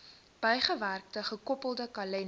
bygewerkte gekoppelde kalender